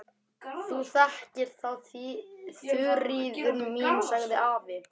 Þú þekkir það, Þuríður mín, sagði afi.